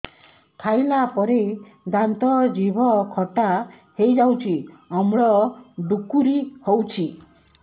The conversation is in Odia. ଖାଇଲା ପରେ ଦାନ୍ତ ଜିଭ ଖଟା ହେଇଯାଉଛି ଅମ୍ଳ ଡ଼ୁକରି ହଉଛି